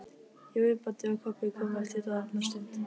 Jói, Baddi og Kobbi komu eftir dálitla stund.